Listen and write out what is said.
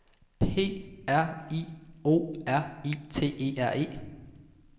P R I O R I T E R E